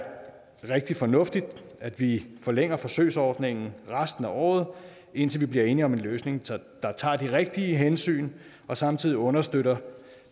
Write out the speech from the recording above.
rigtig fornuftigt at vi forlænger forsøgsordningen resten af året indtil vi bliver enige om en løsning der tager de rigtige hensyn og samtidig understøtter